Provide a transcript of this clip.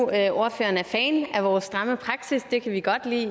at ordføreren er fan af vores stramme praksis og det kan vi godt lide i